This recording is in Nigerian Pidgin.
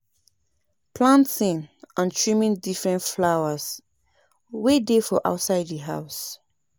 Comot water wey no de dry to remove pests and mosquito for di area